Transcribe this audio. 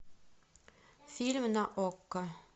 фильм на окко